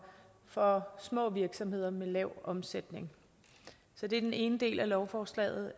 og små virksomheder med lav omsætning så det er den ene del af lovforslaget